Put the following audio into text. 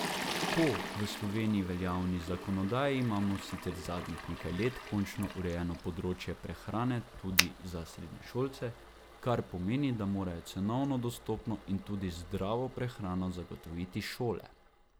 Po v Sloveniji veljavni zakonodaji imamo sicer zadnjih nekaj let končno urejeno področje prehrane tudi za srednješolce, kar pomeni, da morajo cenovno dostopno in tudi zdravo prehrano zagotoviti šole.